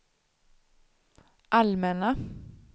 allmänna